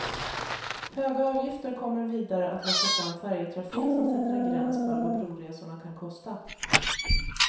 Höga avgifter kommer vidare att locka fram färjetrafik som sätter en gräns för vad broresorna kan kosta.